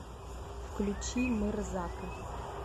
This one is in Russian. включи мырзака